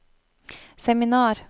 seminar